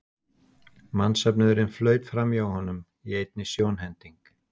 Mannsöfnuðurinn flaut framhjá honum í einni sjónhending.